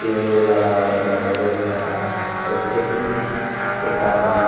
पेड़ ओड़ लगावा गए बाटे बहुत सारा और खेती में एक आदमी --